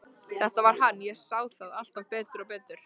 Þetta var hann, ég sá það alltaf betur og betur.